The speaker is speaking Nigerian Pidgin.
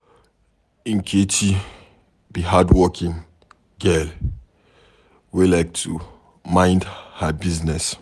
Nkechi be hardworking girl wey like to mind her business.